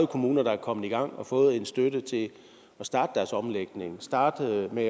kommuner der er kommet i gang og har fået en støtte til at starte deres omlægning og starte med